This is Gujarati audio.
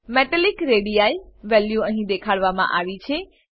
મેટાલિક રેડી વેલ્યુ અહીં દેખાડવામાં આવી છે